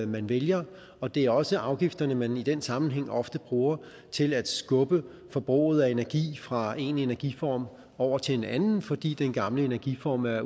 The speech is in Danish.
man vælger og det er også afgifterne man i den sammenhæng ofte bruger til at skubbe forbruget af energi fra en energiform over til en anden fordi den gamle energiform af